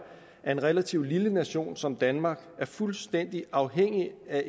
at en relativt lille nation som danmark er fuldstændig afhængig af